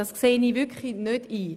Das sehe ich wirklich nicht ein.